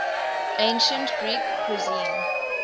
ancient greek cuisine